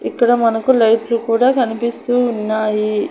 ఇక్కడ మనకు లైట్లు కూడా కనిపిస్తూ ఉన్నాయి.